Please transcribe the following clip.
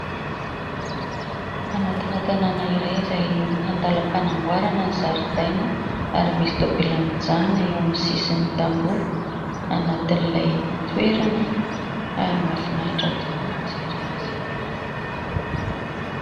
Anatina tanàna iray izay andalam-panamboarana ny zaridaina ary misy tomobilina mijanona eo amin'ny sisin'ny tamboho ; anatin'ilay toerana ary mahafinaritra tokoa ny mijery azy.